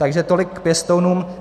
Takže tolik k pěstounům.